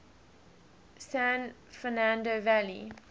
san fernando valley